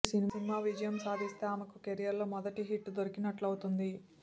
ఈ సినిమా విజయం సాధిస్తే ఆమెకు కెరీర్లో మొదటి హిట్ దొరికినట్లవుతుంది